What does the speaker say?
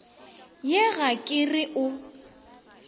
ye ga ke re o